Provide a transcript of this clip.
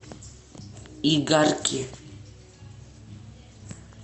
игарки